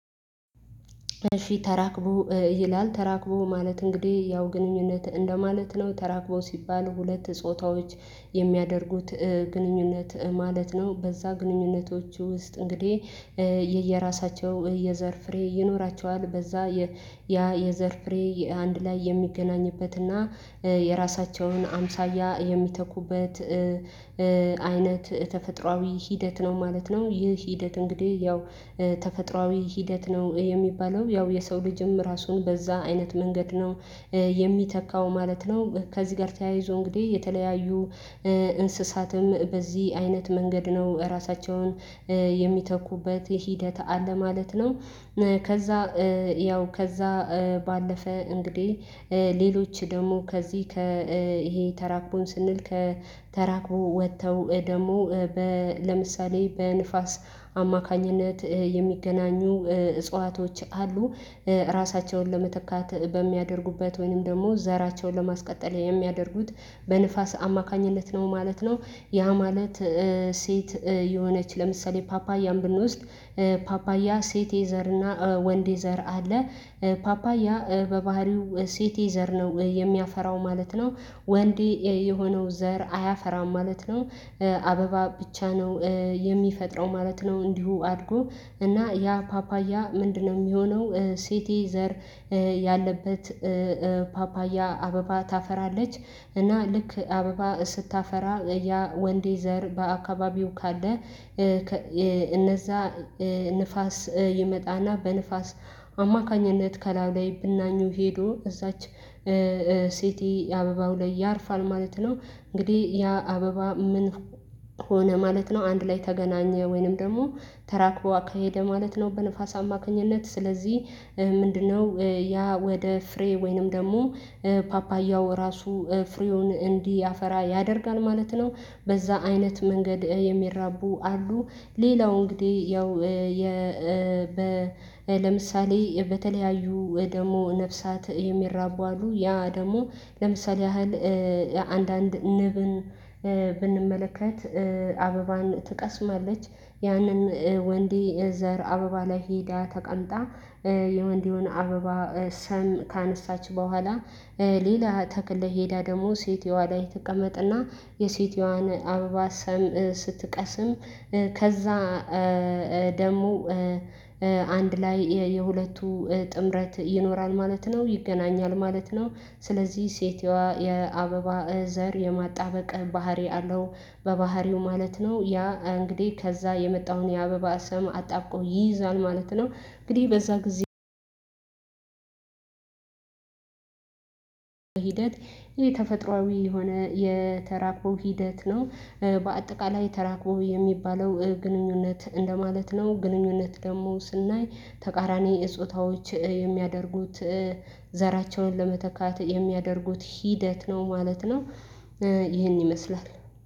እሺ ተራክቦ ይላል ተራክቦ ማለት እንግዲህ ያው ግንኙነት እንደማለት ነው ተራክቦ ሲባል ሁለት ጾታዎች የሚያደርጉት ግንኙነት ማለት ነው። በዛ ግንኙነቶች ውስጥ እንግዲህ የየራሳቸው የዘር ፍሬ ይኖራቸዋል በዛ ያ የዘር ፍሬ አንድ ላይ የሚገናኝበትና የራሳቸውን አምሳያ የሚተኩበት አይነት ተፈጥሮአዊ ሂደት ነው ማለት ነው። ይህ ሂደት እንግዲህ ያው ተፈጥሮአዊ ሂደት ነው የሚባለው ያው የሰው ልጅም ራሱን በዛ አይነት መንገድ ነው የሚተካው ማለት ነው። ከዚህ ጋር ተያይዞ እንግዲህ የተለያዩ እንስሳትም በዚህ አይነት መንገድ ነው ራሳቸውን የሚተኩበት ሂደት አለ ማለት ነው። ከዛ ያው ከዛ ባለፈ እንግዲህ ሌሎች ደግሞ ከዚህ ከ ይሄ ተራክቦን ስንል ከተራክቦ ወጥተው ደግሞ ለምሳሌ በንፋስ አማካኝነት የሚገናኙ እጽዋቶች አሉ ራሳቸውን ለመተካት በሚያደርጉበት ወይንም ደግሞ ዘራቸውን ለማስቀጠል የሚያደርጉት በንፋስ አማካኝነት ነው ማለት ነው። ያ ማለት ሴት የሆነች ለምሳሌ ፓፓያም ብንወስድ ፓፓያ ሴት ዘርና ወንዴ ዘር አለ ፓፓያ በባህሪው ሴት ዘር ነው የሚያፈራው ማለት ነው። ወንድ የሆነው ዘር አያፈራም ማለት ነው። አበባ ብቻ ነው የሚፈጥረው ማለት ነው። እንዲሁ አድርጎ እና ያ ፓፓያ ምንድነው? የሚሆነው ሴት ዘር ያለበት ፓፓያ አበባ ታፈራለች እና ልክ አበባ ስታፈራ ያ ወንድ ዘር በአካባቢው ካለ እነዛ ንፋስ ይመጣና በንፋስ አማካኝነት ከላዩ ላይ ብናኙ ሄዶ እዛች ሴት አበባው ላይ ያርፋል ማለት ነው። እንግዲህ ያ አበባ ምን ሆነ ማለት ነው። አንድ ላይ ተገናኘ ወይንም ደግሞ ተራክቦ አካሄደ ማለት ነው። በንፋስ አማካኝነት ስለዚህ ምንድነው ያ ወደ ፍሬ ወይንም ደግሞ ፓፓያው ራሱ ፍሬውን እንድያፈራ ያደርጋል ማለት ነው። በዛ አይነት መንገድ የሚራቡ አሉ። ሌላው እንግዲህ ያው ለምሳሌ በተለያዩ ደግሞ ነፍሳት የሚራቡ አሉ ያ ደግሞ ለምሳሌ ያህል አንዳንድ ንብን ብንመለከት አበባን ትቀስማለች ያንን ወንድ የዘር አበባ ላይ ሄዳ ተቀምጣ የወንድውን አበባ ሰም ካነሳች በኋላ ሌላ ተክል ሄዳ ደግሞ ሴትየዋ ላይ ትቀመጥና የሴትየዋን አበባ ሰም ስትቀስም ከዛ ደግሞ አንድ ላይ የሁለቱ ጥምረት ይኖራል ማለት ነው። ይገናኛል ማለት ነው። ስለዚህ ሴቷ የአበባ ዘር የማጣበቅ ባህሪ አለው በባህሪው ማለት ነው ያ እንግዲህ ከዛ የመጣውን የአበባ ሰም አጣብቆ ይይዛል ማለት ነው። እንግዲህ በዛ ጊዜ ሂደት ይሄ ተፈጥሮአዊ የሆነ የተራቆ ሂደት ነው። በአጠቃላይ ተራቆ የሚባለው ግንኙነት እንደማለት ነው ግንኙነት ደግሞ ስናይ ተቃራኒ ጾታዎች የሚያደርጉት ዘራቸውን ለመተካት የሚያደርጉት ሂደት ነው ማለት ነው። ይሄን ይመስላል።